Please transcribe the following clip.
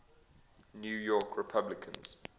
new york republicans